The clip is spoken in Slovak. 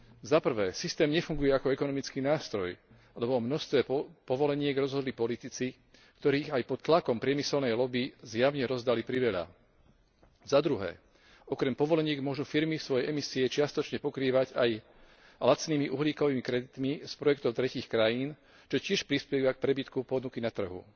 Po prvé, systém nefunguje ako ekonomický nástroj, lebo o množstve povoleniek rozhodli politici, ktorí aj pod tlakom priemyselnej lobby zjavne rozdali priveľa. Po druhé, okrem povoleniek môžu firmy svoje emisie čiastočne pokrývať aj lacnými uhlíkovými kreditmi z projektov tretích krajín, čo tiež prispieva k prebytku ponuky na trhu.